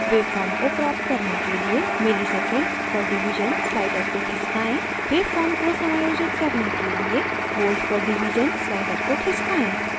wave form को प्राप्त करने के लिए msec/div slider को खिसकाएँ